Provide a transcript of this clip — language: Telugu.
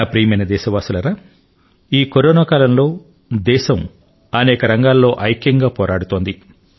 నా ప్రియమైన దేశవాసులారా ఈ కరోనా కాలంలో దేశం అనేక రంగాల్లో ఐక్యంగా పోరాడుతోంది